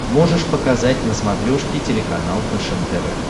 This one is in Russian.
можешь показать на смотрешке телеканал фэшен тв